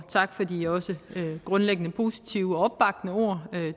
tak for de grundlæggende positive og opbakkende ord